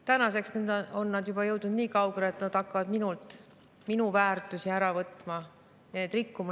Tänaseks on nad jõudnud juba niikaugele, et nad hakkavad minult minu väärtusi ära võtma ja neid rikkuma.